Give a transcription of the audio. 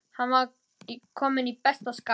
Hann var kominn í besta skap.